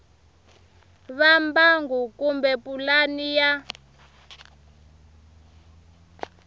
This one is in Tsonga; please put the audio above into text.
va mbangu kumbe pulani ya